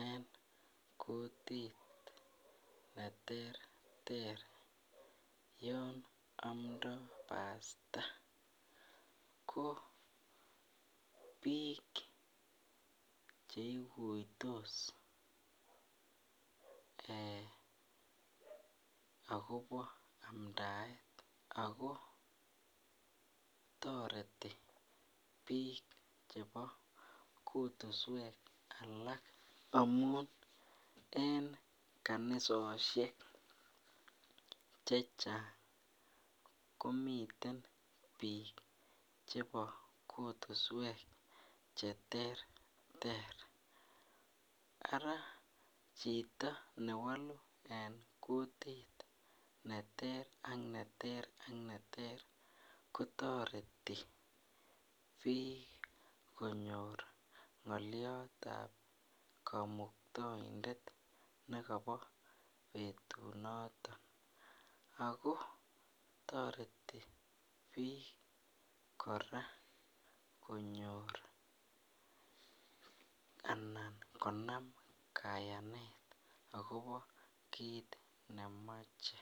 en kutit neterter Yan amda pasta KO bik cheiguitos akoba amdaet ako tareti bik chebo kutuswek alak amun en kanisoshek chechang komiten bik chebo kutuswek cheterter Ara Chito newalu en kutit neter ak neter kotareti bik konyor ngaliat ab kamuktaindet nekaba betutu noton ago tareti bik korÃ a konyor anan konam kayanet akobo kit nemache